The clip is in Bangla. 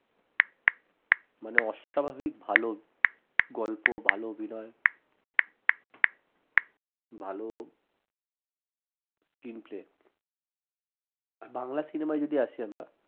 মানে অস্বাভাবিক ভাল গল্প ভাল অভিনয় ভাল screenplay বাংলা cinema য় যদি আসি আমরা